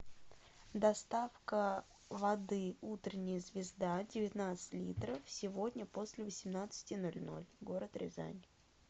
доставка воды утренняя звезда девятнадцать литров сегодня после восемнадцати ноль ноль город рязань